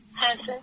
হ্যাঁ স্যার